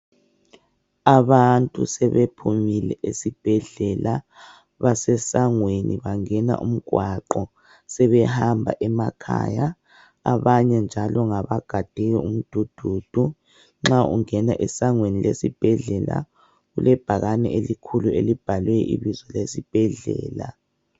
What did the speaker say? Abantu sebephumile esibhedlela basesangweni bangene umgwaqo sebehamba emakhaya, abanye njalo ngabagade umdududu, nxa ungena esangweni lesibhedlela kulebhakani elikhulu elibhalwe ibizo lesibhedlela.